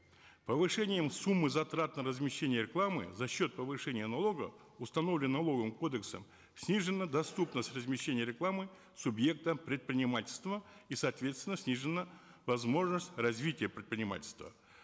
повышением суммы затрат на размещение рекламы за счет повышения налога установленного налоговым кодексом снижена доступность размещения рекламы субъектам предпринимательства и соответственно снижена возможность развития предпринимательства